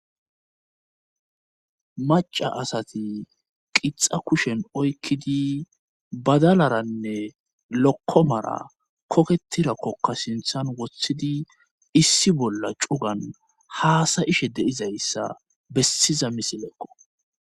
maca asati qixa kushen oykkidi badalaranne lokkomara koketirakkokka sinthan wothidi issi bolla cugan haasayishe deizayssa bessiza misileekqo